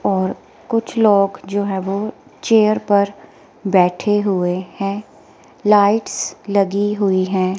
और कुछ लोग जो है वो चेयर पर बैठे हुए हैं लाइट्स लगी हुई हैं।